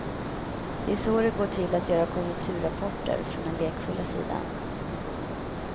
Det är så det går till att göra konjunkturrapporter, från den lekfulla sidan.